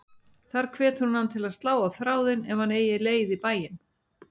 Þar hvetur hún hann til að slá á þráðinn ef hann eigi leið í bæinn.